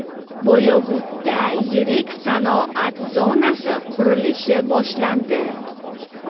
Boyovutda yirik sanoat zonasi qurilishi boshlandi.